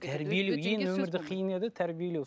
қиын еді тәрбиелеу